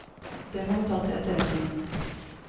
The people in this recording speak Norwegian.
Det må vi ta til etterretning.